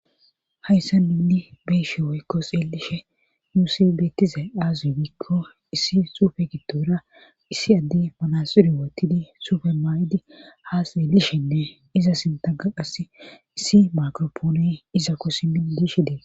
hayssa nunni be7ishe woykko xeelishe nusi betizay aaze giikko issi suufe giddora issi addey manaxire woottidi sufe mayidi haa xeelishenne iza sintakka qassi issi makropoone izako simidi dishe dees.